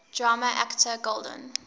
drama actor golden